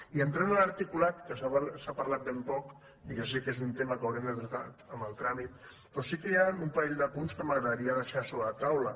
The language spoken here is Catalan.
i entrant a l’articulat que se n’ha parlat ben poc i ja sé que és un tema que haurem de tractar en el tràmit però sí que hi han un parell de punts que m’agradaria deixar sobre la taula